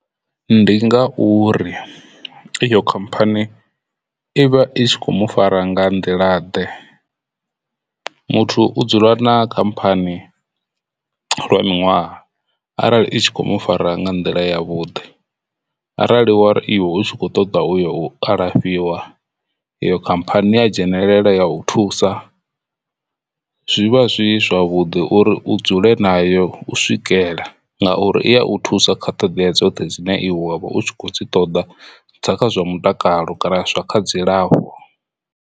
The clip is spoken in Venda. Ndi ngauri iyo khamphani ivha i kho mu fara nga nḓila ḓe. Muthu u dzula na khamphani lwa miṅwaha arali i tshi kho mu fara nga nḓila ya vhuḓi arali wari iwe u tshi kho ṱoḓa uya u alafhiwa yo khamphani ya dzhenelele ya u thusa. Zwivha zwi zwavhuḓi uri u dzule na yo u swikela ngauri i ya u thusa kha ṱoḓea dzoṱhe dzine wavha u kho dzi ṱoḓa dza kha zwa mutakalo kana zwa kha dzilafho.